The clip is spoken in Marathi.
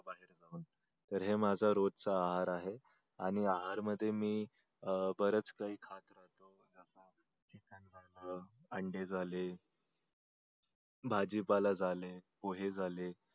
तर ही माझ रोजच आहार आहे आणि आहार मध्ये मी बरेच काही खातो अंडे झाले भाजीपाला झाले पोहे झाले.